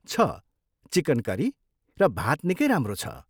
छ, chicken curry र भात निकै राम्रो छ।